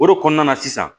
O de kɔnɔna na sisan